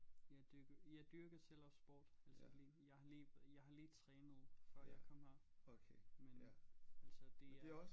Jeg dyrker jeg dyrker selv også sportsdisciplin jeg har lige jeg har lige trænet før jeg kom her men altså det er